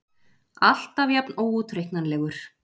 Alltaf jafn óútreiknanlegur.